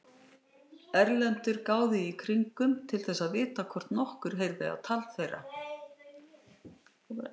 Erlendur gáði í kringum til þess að vita hvort nokkur heyrði á tal þeirra.